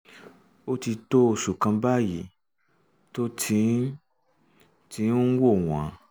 ó ti tó oṣù kan báyìí tó um ti ń um ti ń wọ̀ um wọ́n